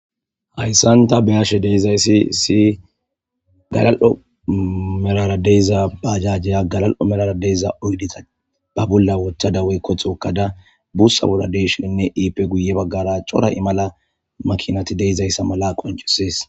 hayssan ta beyashe deizayssi si galal'o melara deyiza baajajjiya galal'o melara deyza oydita ba bolla wotha dawey kothokkada buussa bolla deyshininne iipe guye baggara cora i mala makinati deizayssa mala qoncisees